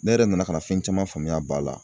Ne yɛrɛ nana ka na fɛn caman faamuya a b'a la.